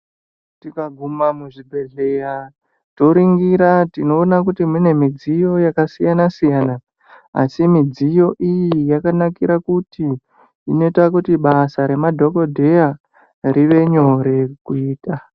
Tikaguma muzvibhedhleya toringira tinoone kuti mune midziyo yakasiyana siyana asi midziyo iyi yakanakira kuti inoita kuti basa remadhokodheya rive nyore kuita.